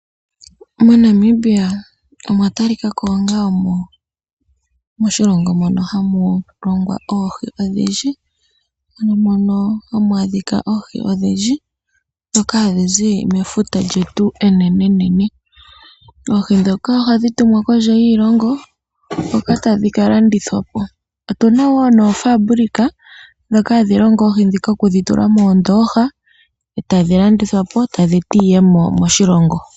MoNamibia omwa talikako onga moshilongo mono hamu longwa oohi odhindji. Ano mono hamu adhika oohi odhindji dhoka hadhi zi mefuta lyetu enene nene. Oohi dhoka ohadhi tumwa kondje yiishilongo. Hoka tadhi ka landithwa po. Otuna wo noofabulika dhoka hadhi longo oohi dhika oku dhi tula moondoha tadhi landithwa po eta dhi eta iiyemo moshilongo.